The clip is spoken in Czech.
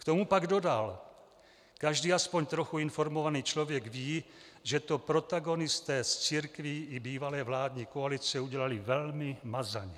K tomu pak dodal: "Každý aspoň trochu informovaný člověk ví, že to protagonisté z církví i bývalé vládní koalice udělali velmi mazaně.